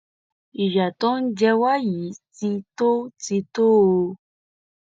ìyà tó ń jẹ wá yìí ti tó ti tó o